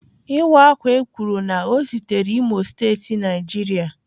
Iwa akwa ekwuru na o sitere imo state Nigeria.